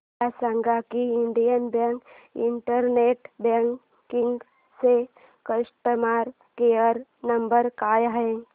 मला सांगा की इंडियन बँक इंटरनेट बँकिंग चा कस्टमर केयर नंबर काय आहे